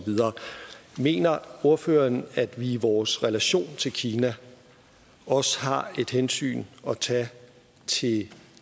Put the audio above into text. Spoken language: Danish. videre mener ordføreren at vi i vores relation til kina også har et hensyn at tage til